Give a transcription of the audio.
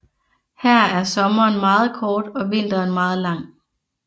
Her er sommeren meget kort og vinteren meget lang